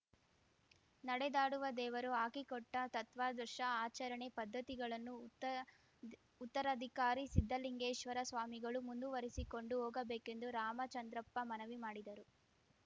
ನಡೆದಾಡುವ ದೇವರು ಹಾಕಿಕೊಟ್ಟತತ್ವಾದರ್ಶ ಆಚರಣೆ ಪದ್ಧತಿಗಳನ್ನು ಉತ್ತ ದಿ ಉತ್ತರಾಧಿಕಾರಿ ಸಿದ್ಧಲಿಂಗೇಶ್ವರ ಸ್ವಾಮಿಗಳೂ ಮುಂದುವರಿಸಿಕೊಂಡು ಹೋಗಬೇಕೆಂದು ರಾಮಚಂದ್ರಪ್ಪ ಮನವಿ ಮಾಡಿದರು